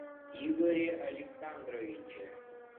игоре александровиче